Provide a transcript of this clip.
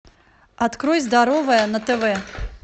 открой здоровое на тв